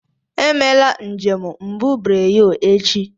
Emela njem mbubreyo echi.